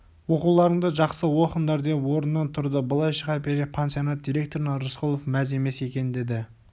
оқуларыңды жақсы оқыңдар деп орнынан тұрды былай шыға бере пансионат директорына рысқұлов мәз емес екен деді